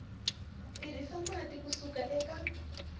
tirhisa mati ku suka eka